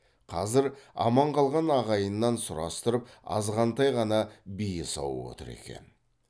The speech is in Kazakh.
қазір аман қалған ағайыннан сұрастырып азғантай ғана бие сауып отыр екен